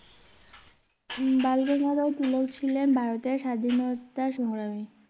বালগঙ্গাধর তিলক ছিলেন ভারতের স্বাধীনতা সংগ্রামী